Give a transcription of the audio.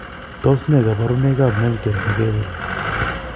Tos nee koborunoikab meltet nekewel?